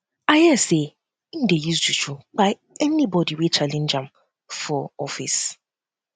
i um hear sey im dey use juju um kpai anybodi wey challenge wey challenge am for um office